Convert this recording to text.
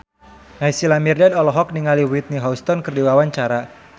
Naysila Mirdad olohok ningali Whitney Houston keur diwawancara